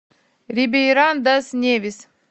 рибейран дас невис